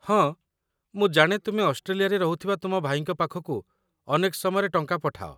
ହଁ, ମୁଁ ଜାଣେ ତୁମେ ଅଷ୍ଟ୍ରେଲିଆରେ ରହୁଥିବା ତୁମ ଭାଇଙ୍କ ପାଖକୁ ଅନେକ ସମୟରେ ଟଙ୍କା ପଠାଅ।